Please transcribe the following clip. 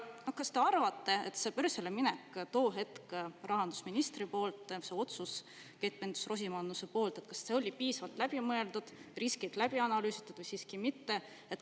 Kas te arvate, et see börsile minek ehk otsus, mida tollane rahandusminister Keit Pentus-Rosimannuse tegi, oli piisavalt läbi mõeldud ja riskid läbi analüüsitud või siiski mitte?